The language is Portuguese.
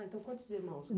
Ah, então quantos irmãos?